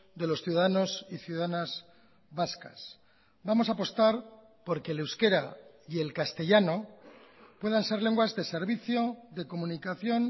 de los ciudadanos y ciudadanas vascas vamos a apostar porque el euskera y el castellano puedan ser lenguas de servicio de comunicación